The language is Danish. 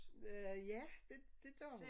Øh ja det det gør hun